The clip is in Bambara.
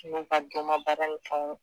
n'u ka domabaara ni fɛnw